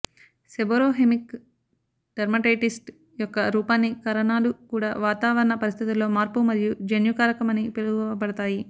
seborrhoeic dermatitis యొక్క రూపాన్ని కారణాలు కూడా వాతావరణ పరిస్థితులలో మార్పు మరియు జన్యు కారకం అని పిలువబడతాయి